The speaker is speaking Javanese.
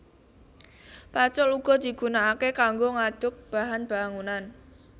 Pacul uga digunakaké kanggo ngaduk bahan bangunan